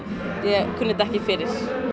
ég kunni þetta ekki fyrir